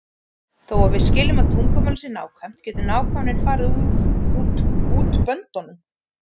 Þó að við viljum að tungumálið sé nákvæmt getur nákvæmnin farið út böndunum.